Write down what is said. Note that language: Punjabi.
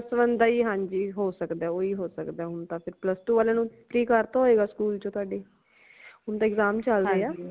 plus one ਦਾ ਹੀ ਹਾਂਜੀ ਹੋ ਸਕਦਾ ਹੈ ਓਹੀ ਹੋ ਸਕਦਾ ਹੈ ਹੁਣ ਤਾ ਫੇਰ plus two ਵਾਲਿਆਂ ਨੂ free ਕਰਤਾ ਹੋਏਗਾ school ਤੋਂ ਤੁਆਡੇ ਹੁਣ ਤਾ exam ਚਲ ਰਏ ਹਾ